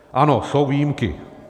Ano, jsou výjimky.